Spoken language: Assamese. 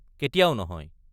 কেতিয়াও নহয়।